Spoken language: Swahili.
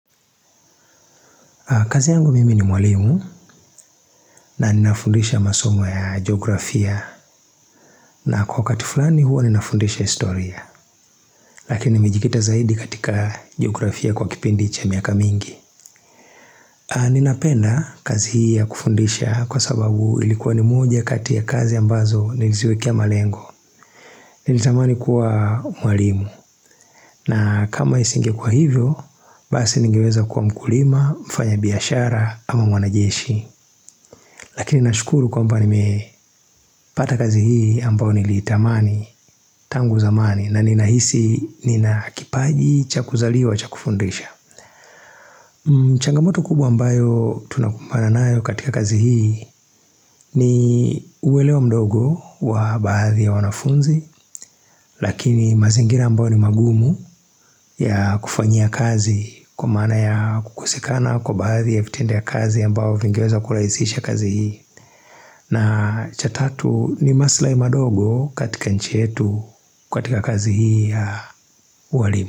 Kazi yangu mimi ni mwalimu na ninafundisha masomo ya geografia na kwa wakati fulani huwa ninafundisha historia Lakini mijikita zaidi katika geografia kwa kipindi cha miaka mingi Ninapenda kazi hii ya kufundisha kwa sababu ilikuwa ni moja kati ya kazi ambazo niliziwekia malengo Nilitamani kuwa mwalimu na kama isinge kuwa hivyo, basi ningeweza kuwa mkulima, mfanya biashara ama mwanajeshi Lakini nashukuru kwa mba ni mepata kazi hii ambao nilitamani tangu zamani na ninahisi nina kipaji chakuzaliwa chakufundisha. Changamoto kubwa ambayo tunakumbana nayo katika kazi hii ni uwelewa mdogo wa baadhi ya wanafunzi. Lakini mazingira ambao ni magumu ya kufanya kazi kwa maana ya kukosekana kwa baadhi ya vitendea kazi ambao vingeweza kulaizisha kazi hii. Na chatatu ni maslai madogo katika nchietu kwa katika kazi hii ya uwalimu.